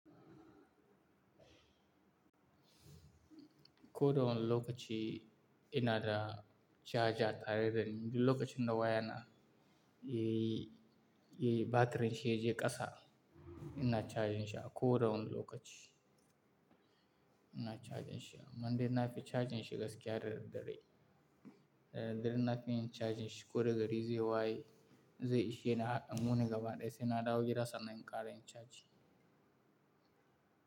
Ko da wane lokaci ina da caja tare dani duk lokacin da waya na yayi yi, yi batirin shi ya je ƙasa, ina cajin shi a ko da wane lokaci. Ina cajin shi, amma dai nafi cajin shi gaskiya da da dare, da da dare na fi yin cajin shi ko da gari zai waye, zai ishe ni har wuni gaba ɗaya sai na ɗawo gida sannan in ƙara yin caji.